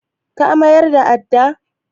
Ka mayar da addan?